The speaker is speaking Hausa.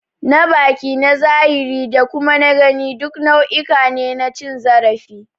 Na baki, na zahiri da kuma na gani duk nau'uka ne na cin zarafi.